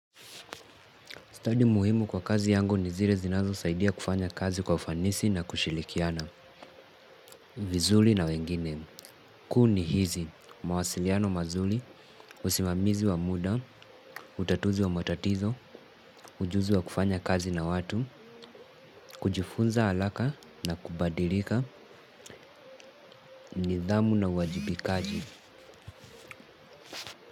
Stadi muhimu kwa kazi yangu ni zile zinazo saidia kufanya kazi kwa ufanisi na kushilikiana. Vizuli na wengine. Kuu ni hizi. Mawasiliano mazuli, usimamizi wa muda utatuzi wa matatizo. Ujuzi wa kufanya kazi na watu kujifunza alaka na kubadirika nidhamu na uwajibikaji.